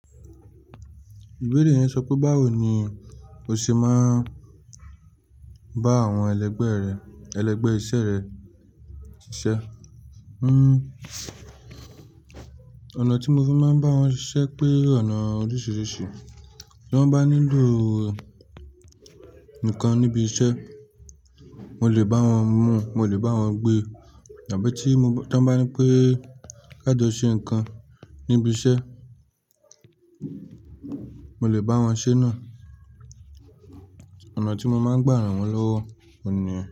Ibeere yẹn sọ pé báwo ni o ṣe máa ń bá àwọn ẹlẹgbẹ́ rẹ, ẹlẹgbẹ́ iṣẹ́ rẹ ṣiṣẹ́. Hmm, ọ̀nà tí mo fi máa ń bá wọn ṣiṣẹ́ pé ọ̀nà oríṣiríṣi, tí wọ́n bá nílò nǹkan níbi iṣẹ́, mo lè bá wọn mu, mo lè bá wọn gbé, àbí tí mo, ti wọ́n bá nipé ká jọ ṣe nǹkan níbi iṣẹ́, mo lè bá wọn ṣe náà. Ọ̀nà tí mo máa ń gbà ran wọ́n lọ́wọ́ òun ní yẹn.